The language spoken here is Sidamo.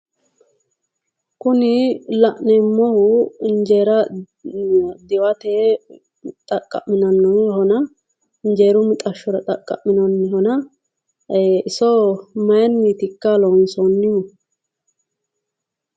Kuni la'neemmohu injeera diwate xaqqami'neemmohona iinjeeru mixashshora xaqqamminanihona iso mayiinnitikka loonsonnihu?